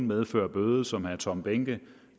medføre en bøde som herre tom behnke